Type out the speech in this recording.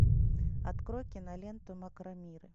открой киноленту макромиры